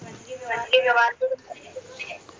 म्हनजे